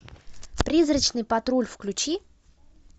призрачный патруль включи